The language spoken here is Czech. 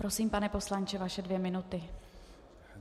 Prosím, pane poslanče, vaše dvě minuty.